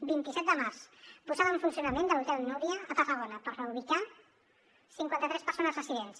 vint set de març posada en funcionament de l’hotel núria a tarragona per reubicar cinquanta tres persones residents